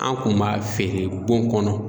An kun m'a feere bon kɔnɔ